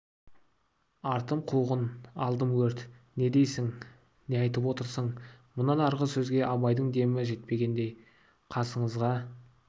артым қуғын алдым өрт не дейсің не айтып отырсың мұнан арғы сөзге абайдың демі жетпегендей қасыңызға